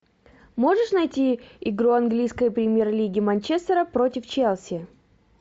можешь найти игру английской премьер лиги манчестера против челси